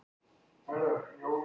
Með góðu fólki, Reykjavík.